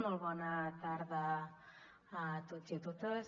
molt bona tarda a tots i a totes